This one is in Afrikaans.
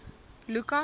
lukas